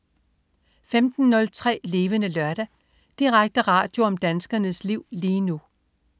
15.03 Levende Lørdag. Direkte radio om danskernes liv lige nu